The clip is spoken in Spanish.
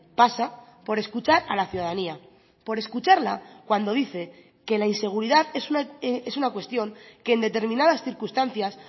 pasa por escuchar a la ciudadanía por escucharla cuando dice que la inseguridad es una cuestión que en determinadas circunstancias